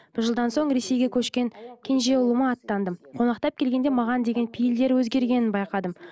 бір жылдан соң ресейге көшкен кенже ұлыма аттандым қонақтап келгенде маған деген пейлдері өзгергенін байқадым